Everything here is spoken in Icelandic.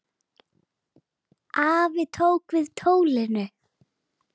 Afi tók við tólinu.